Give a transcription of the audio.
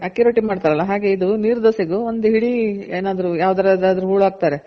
ಅದೆ ಅಕ್ಕಿ ರೊಟ್ಟಿ ಮಾಡ್ತಾರಲ್ಲ ಹಾಗೆ ಇದು ನೀರ್ ದೋಸೆ ಗು ಒಂದ್ ಹಿಡಿ ಏನಾದ್ರು ಯಾವ್ದ್ರ್ ದಾದ್ರು ಹೂಳ್ ಹಾಕ್ತಾರೆ.